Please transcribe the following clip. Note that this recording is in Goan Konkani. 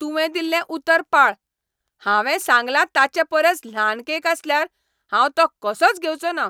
तुवें दिल्लें उतर पाळ. हांवें सांगला ताचेपरस ल्हान केक आसल्यार हांव तो कसोच घेवचो ना .